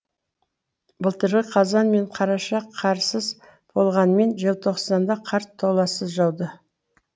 былтырғы қазан мен қараша қарсыз болғанымен желтоқсанда қар толассыз жауды